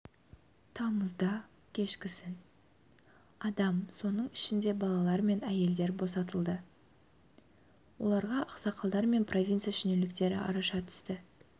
тамызда кешкісін адам соның ішінде балалар мен әйелдер босатылды оларға ақсақалдар мен провинция шенеуніктері араша түсті